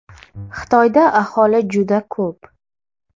Xitoyda aholi juda ko‘p.